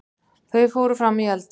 Þau fóru frammí eldhúsið.